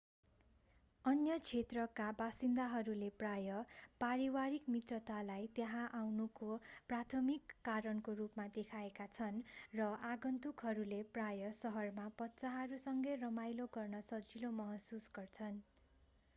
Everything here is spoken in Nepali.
अन्य क्षेत्रका बासिन्दाहरूले प्रायः पारिवारिक मित्रतालाई त्यहाँ आउनुको प्राथमिक कारणको रूपमा देखाएका छन् र आगन्तुकहरूले प्राय: सहरमा बच्चाहरूसँगै रमाइलो गर्न सजिलो महसुस गर्छन्‌।